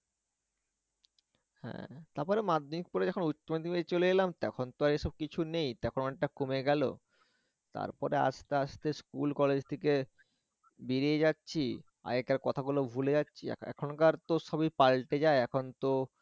হ্যাঁ তারপরে মাধ্যমিক পরে যখন উচ্চমাধ্যমিকে চলে এলাম তখন তো আর এসব কিছু নেই তখন অনেকটা কমে গেল, তারপরে আস্তে আস্তে স্কুল college থেকে বেরিয়ে গেছে আগেকার কথাগুলো ভুলে যাচ্ছি, এ এখনকার তো সবি পালটে যায় এখন তো